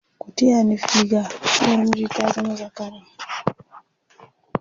ku taya ni figa! uwar miji ta zama zakara!